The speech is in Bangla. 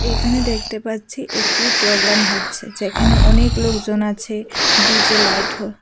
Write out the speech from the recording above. এখানে দেখতে পাচ্ছি একটি প্রোগ্রাম হচ্ছে যেখানে অনেক লোকজন আছে ডি_জে লাইট ঠ--